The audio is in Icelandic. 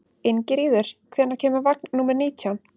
Ingiríður, hvenær kemur vagn númer nítján?